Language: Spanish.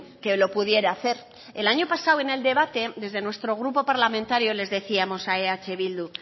que lo pudiera hacer el año pasado en el debate desde nuestro grupo parlamentario les decíamos a eh bildu